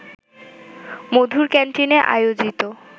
মধুর ক্যান্টিনে আয়োজিত